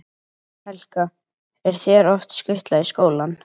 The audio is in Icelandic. Helga: Er þér oft skutlað í skólann?